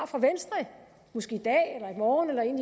fra venstre måske i dag i morgen eller en